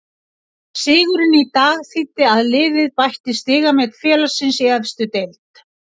Sigurinn í dag þýddi að liðið bætti stigamet félagsins í efstu deild.